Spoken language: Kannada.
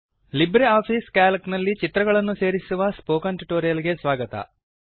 ಲಿಬ್ರಿಆಫಿಸ್ ಸಿಎಎಲ್ಸಿ ನಲ್ಲಿ ಚಿತ್ರಗಳನ್ನು ಸೇರಿಸುವ ಸ್ಫೋಕನ್ ಟ್ಯುಟೋರಿಯಲ್ ಗೆ ಸ್ವಾಗತ